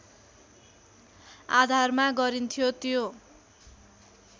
आधारमा गरिन्थ्यो त्यो